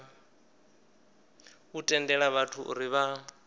u tendela vhathu uri vha